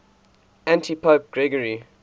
antipope gregory